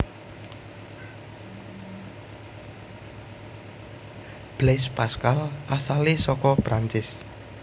Blaise Pascal asalé saka Prancis